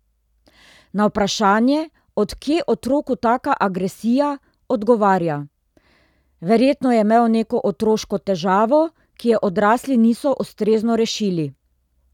Na vprašanje, od kje otroku taka agresija, odgovarja: "Verjetno je imel neko otroško težavo, ki je odrasli niso ustrezno rešili.